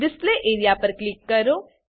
display area પર click કરો